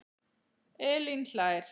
Elín hlær.